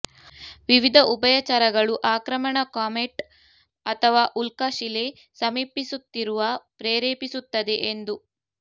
ವಿವಿಧ ಉಭಯಚರಗಳು ಆಕ್ರಮಣ ಕಾಮೆಟ್ ಅಥವಾ ಉಲ್ಕಾಶಿಲೆ ಸಮೀಪಿಸುತ್ತಿರುವ ಪ್ರೇರೇಪಿಸುತ್ತದೆ ಎಂದು